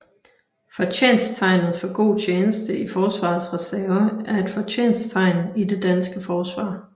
Fortjensttegnet for god tjeneste i Forsvarets Reserve er et fortjensttegn i det danske Forsvar